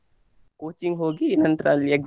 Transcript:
Coaching ಹೋಗಿ ನಂತ್ರ ಅಲ್ಲಿ exam .